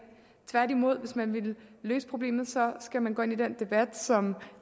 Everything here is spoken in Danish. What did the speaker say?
tværtimod hvis man vil løse problemet skal man gå ind i den debat som